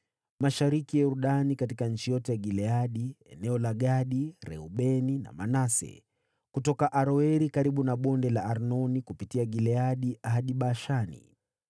mashariki ya Yordani, katika nchi yote ya Gileadi (eneo la Gadi, Reubeni na Manase), kutoka Aroeri karibu na Bonde la Arnoni kupitia Gileadi hadi Bashani.